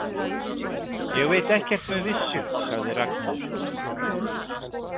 Ég veit ekkert með vissu, sagði Ragnheiður.